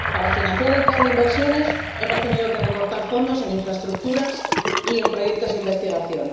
Para financiar el plan de inversiones hemos tenido que recortar fondos en infraestructuras y en proyectos de investigación.